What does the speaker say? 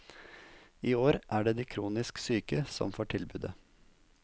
I år er det de kronisk syke som får tilbudet.